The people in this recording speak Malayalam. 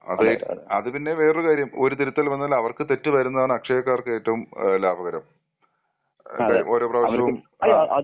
അത് പിന്നെ വേറെ കാര്യം ഒരു തിരുത്തൽ വന്ന അവർക്ക് തെറ്റ് വരുന്നതാണ് അക്ഷയക്കാർക്ക് ഏറ്റവും ലാഭകരം. ആൾകാർ ഓരോ പ്രാവശ്യവും ആ.